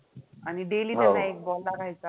आणि daily त्यांना एक ball लागायचा